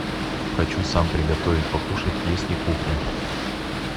хочу сам приготовить покушать есть ли кухня